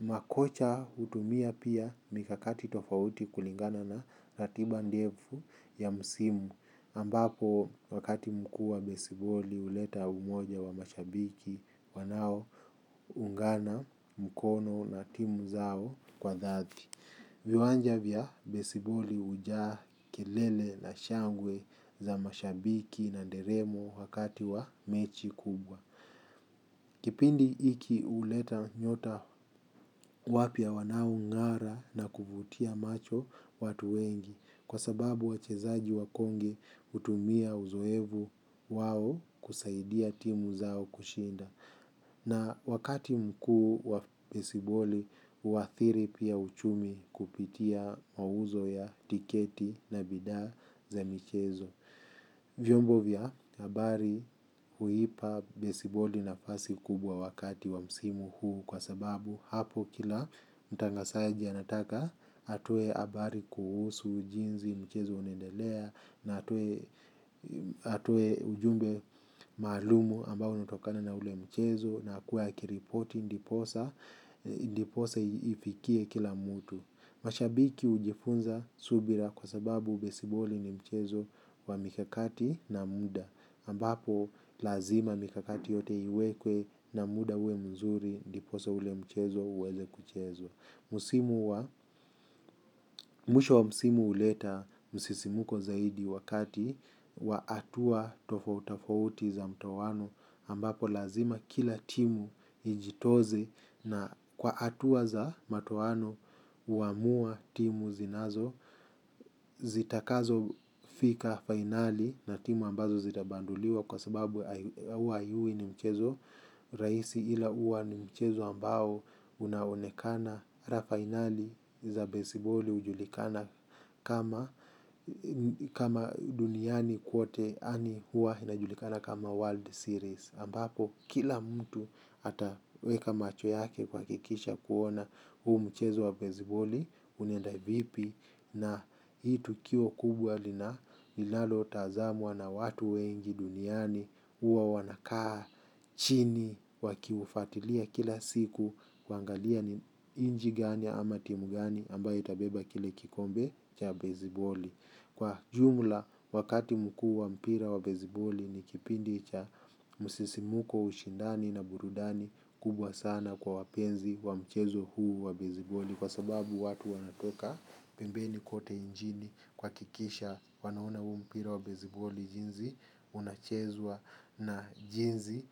Makocha hutumia pia mikakati tofauti kulingana na ratiba ndefu ya msimu ambapo wakati mkuu wa besiboli huleta umoja wa mashabiki wanao ungana mkono na timu zao kwa dhati. Viwanja vya besiboli hijaa kelele na shangwe za mashabiki na nderemo wakati wa mechi kubwa. Kipindi hiki huleta nyota wapya wanao ng'ara na kuvutia macho watu wengi. Kwa sababu wachezaji wakongwe hutumia uzoefu wao kusaidia timu zao kushinda. Na wakati mkuu wa besiboli, huathiri pia uchumi kupitia mauzo ya tiketi na bidhaa za michezo. Vyombo vya habari huipa besiboli nafasi kubwa wakati wa msimu huu. Kwa sababu hapo kila mtangazaji anataka atoe habari kuhusu jinsi mchezo unaendelea na atoe ujumbe maalumu ambao unatokana na ule mchezo na kuwa kiripoti ndiposa ndiposa ifikie kila mtu. Mashabiki hujifunza subira kwa sababu besiboli ni mchezo wa mikakati na muda ambapo lazima mikakati yote iwekwe na muda uwe mzuri ndiposa ule mchezo uweze kuchezwa mwisho wa musimu uleta musisimuko zaidi wakati wa hatua tofau tofauti za mtowano ambapo lazima kila timu ijitoze na kwa hatua za mtowano huamua timu zinazo zitakazo fika fainali na timu ambazo zitabanduliwa kwa sababu huwa haiwi mchezo rahisi ila hua ni mchezo ambao unaonekana finali za baseballi ujulikana kama duniani kwote yaani hua inajulikana kama World Series Ambapo kila mtu ataweka macho yake kuhakikisha kuona huu mchezo wa basiboli unenda vipi na hii tukio kubwa linalo tazamwa na watu wengi duniani huwa wanakaa chini wakiufatilia kila siku kuangalia ni nchi ganiam ama timu gani ambayo itabeba kile kikombe cha besiboli kwa jumla wakati mkuu wa mpira wa besiboli ni kipindi cha musisimuko ushindani na burudani kubwa sana kwa wapenzi wa mchezo huu wa besiboli kwa sababu watu wanatoka pembeni kote nchini kuhakikisha wanauona huo mpira wa besiboli jinzi unachezwa na jinsi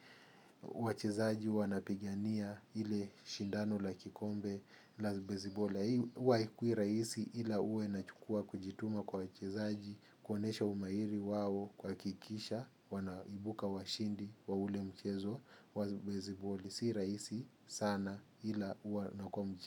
wachezaji wanapigania ile shindano la kikombe la besiboli wa hikwira isi ila ue nachukua kujituma kwa wachezaji konesha umairi wawo kwa kikisha wanaibuka washindi wa ule mchezo wa beziboli. Sira isi sana hila uanakomu.